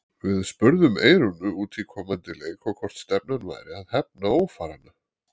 Við spurðum Eyrúnu út í komandi leik og hvort stefnan væri að hefna ófaranna?